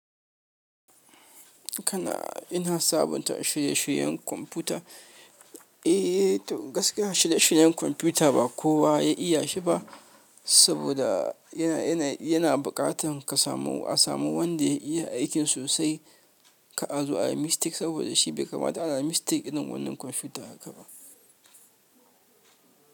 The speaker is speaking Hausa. Kana ina sabunta shirye-shiryen kwamfuta? Eh to gaskiya shirye-shiryen kwamfuta ba kowa ya iya shi ba, saboda yana buƙatar ka samu a samu wanda ya iya aikin sosai kar a zo ayi mistake saboda shi bai kamata ana mistake irin wannan kwamfuta haka ba.